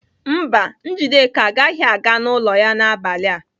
Mba, Njideka agaghị aga n'ụlọ ya n'abalị a.